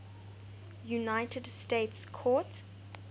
united states court